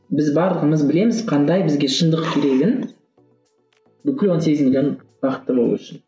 біз барлығымыз білеміз қандай бізге шындық керегін бүкіл он сегіз миллион бақытты болу үшін